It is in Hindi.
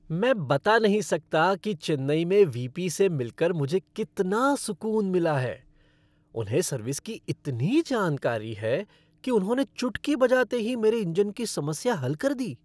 मैं बता नहीं सकता कि चेन्नई में वी.पी. से मिलकर मुझे कितना सुकून मिला है, उन्हें सर्विस की इतनी जानकारी है कि उन्होंने चुटकी बजाते ही मेरे इंजन की समस्या हल कर दी।